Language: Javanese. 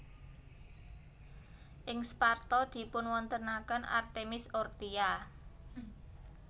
Ing Sparta dipunwontenaken Artemis Orthia